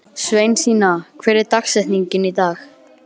Sveinsína, hver er dagsetningin í dag?